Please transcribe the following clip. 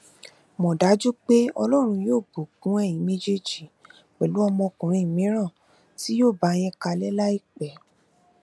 mọ dájú pé ọlọrun yóò bùkún ẹyin méjèèjì pẹlú ọmọkùnrin mìíràn tí yóò bá yín kalẹ láìpẹ